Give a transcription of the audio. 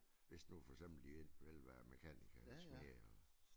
Hvis nu for eksempel de enten vil være mekaniker eller smed eller